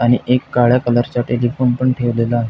आणि एक काळ्या कलर चा टेलिफोन पण ठेवलेला आहे.